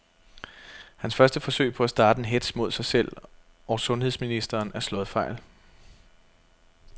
Hans første forsøg på at starte en hetz mod sig selv og sundheds ministeren er slået fejl.